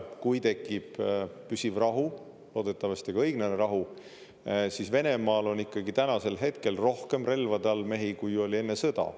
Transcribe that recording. Kui tekib püsiv rahu, loodetavasti ka õiglane rahu, siis Venemaal on ikkagi tänasel hetkel rohkem relvade all mehi, kui oli enne sõda.